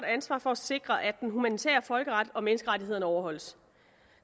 ansvar for at sikre at den humanitære folkeret og menneskerettighederne overholdes